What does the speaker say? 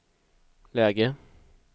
läge